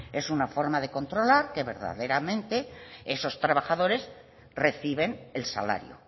una forma de controlar que verdaderamente esos trabajadores reciben el salario